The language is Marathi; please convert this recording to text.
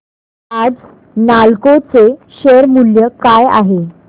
आज नालको चे शेअर मूल्य काय आहे